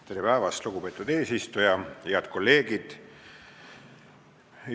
Tere päevast, lugupeetud eesistuja ja head kolleegid!